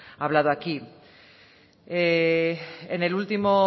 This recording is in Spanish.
hablado aquí en el último